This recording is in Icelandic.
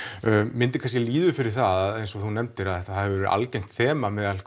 myndin kannski líður fyrir það eins og þú nefndir að þetta hefur verið algengt þema meðal